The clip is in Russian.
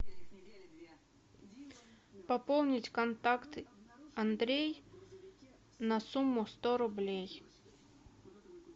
пополнить контакт андрей на сумму сто рублей